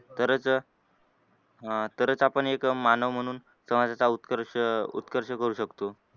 तरच अह तरच आपण एक मानव म्हणून समाजाचा उत्कर्ष उत्कर्ष करू शकतो.